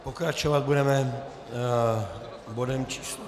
Pokračovat budeme bodem číslo